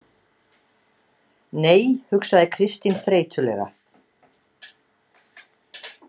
Nei, hugsaði Kristín þreytulega.